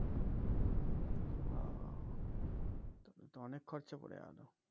ও তবে তো অনেক খরচা পরে গেলো